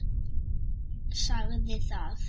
Sagði það.